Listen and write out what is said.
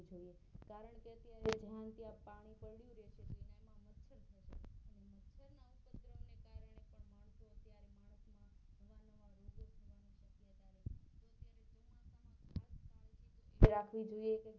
આપણે રાખવું જોઈએ